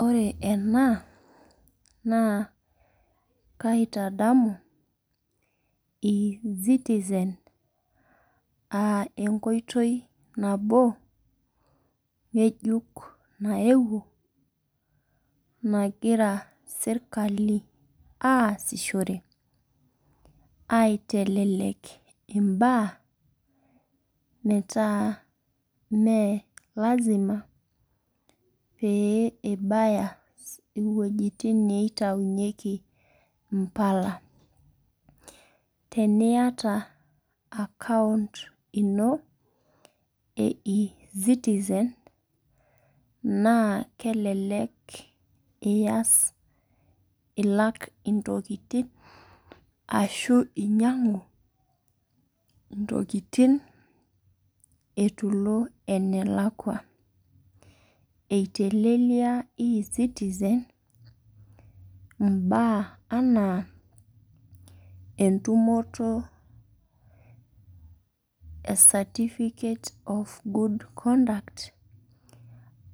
Ore ena, naa kaitadamu e-citizen ah enkoitoi nabo, ng'ejuk naewuo nagira serkali aasishore, aitelelek imbaa, metaa me lasima pee ibaya iwojiting niitaunyeki mpala. Teniata akaunt ino,e e-citizen, naa kelelek ias ilak intokiting, ashu inyang'u intokiting eitu ilo ene lakwa. Eitelelia e-citizen, mbaa anaa, entumoto e certificate of good conduct,